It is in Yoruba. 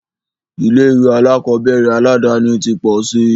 Ilé ìwé alákọ̀berẹ̀ aládàni ti pọ̀ síi.